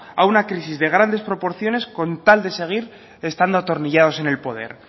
a una crisis de grandes proporciones con tal de seguir estando atornillados en el poder